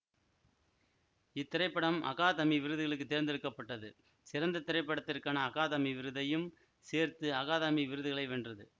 இத்திரைப்படம் அகாதமி விருதுகளுக்கு தேர்ந்தெடுக்க பட்டது சிறந்த திரைப்படத்திற்கான அகாதமி விருதையும் சேர்த்து அகாதமி விருதுகளை வென்றது